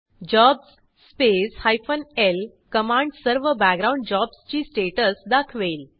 jobs space hyphen L command सर्व background jobs ची status दाखवेल